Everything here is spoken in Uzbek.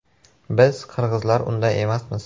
“Biz, qirg‘izlar, unday emasmiz.